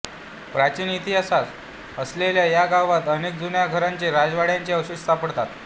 प्राचीन इतिहास असलेल्या या गावात अनेक जुन्या घरांचे राजवाड्यांचे अवशेष सापडतात